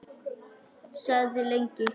Þagði lengi.